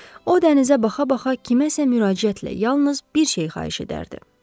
O dənizə baxa-baxa kiməsə müraciətlə yalnız bir şey xahiş edərdi: